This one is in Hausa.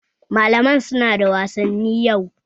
Malaman su na da wasanni yau